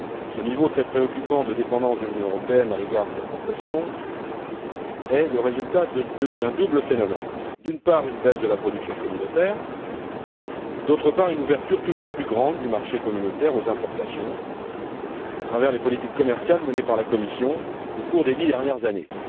Ce niveau très préoccupant de dépendance de l'Union européenne à l'égard des importations est le résultat d'un double phénomène d'une part, une baisse de la production communautaire et, d'autre part, une ouverture toujours plus grande du marché communautaire aux importations, à travers les politiques commerciales menées par la Commission au cours des dix dernières années.